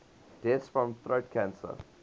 deaths from throat cancer